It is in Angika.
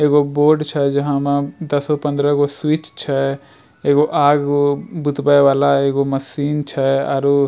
एगो बोर्ड छै जहाँ मा दसगो-पन्द्रहगो स्विच छै एगो आग उग बुतवे वाला एगो मशीन छै आ अउरु --